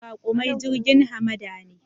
Raƙumai jirgin hamada ne